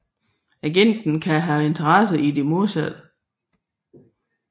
Agenten kan have en interesse i det modsatte